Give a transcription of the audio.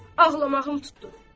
Ağlamağım tutdu.